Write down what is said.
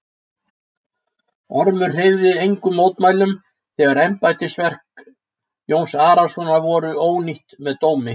Ormur hreyfði engum mótmælum þegar embættisverk Jóns Arasonar voru ónýtt með dómi.